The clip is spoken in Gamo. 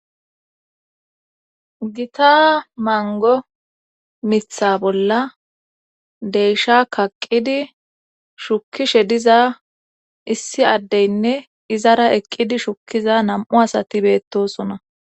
Gita mango mitha bolla deysha kaqqidi shukishe diza issi addeynne izara eqqidi shukkiza nam7u asati beettosona